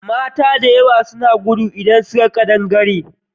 Mata da yawa suna gudu idan suka ga ƙadangare.